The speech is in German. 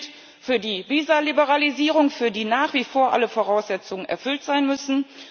Das gilt für die Visaliberalisierung, für die nach wie vor alle Voraussetzungen erfüllt sein müssen.